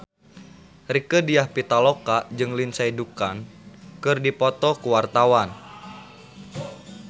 Rieke Diah Pitaloka jeung Lindsay Ducan keur dipoto ku wartawan